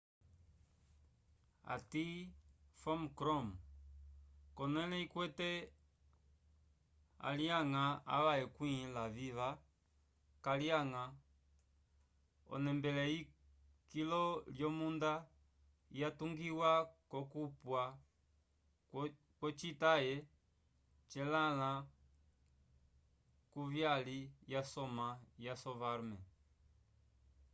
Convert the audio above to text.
ati phom krom konele ikwete alyanga ava ekwĩ laviva kalyanga onembele eyi kilo lyomunda ya tungiwa kokupwa kwo cita ye celãnlã kuvyyali ya soma yasovarman